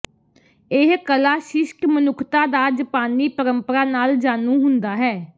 ਇਹ ਕਲਾ ਸ਼ਿਸ਼ਟ ਮਨੁੱਖਤਾ ਦਾ ਜਪਾਨੀ ਪਰੰਪਰਾ ਨਾਲ ਜਾਣੂ ਹੁੰਦਾ ਹੈ